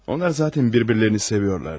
Onlar zatən bir-birlərini seviyorlardı.